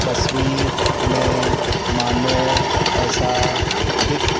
तस्वीर में मानो ऐसा दिख--